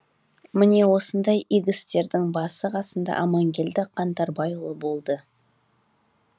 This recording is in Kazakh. міне осындай игі істердің басы қасында аманкелді қаңтарбайұлы болды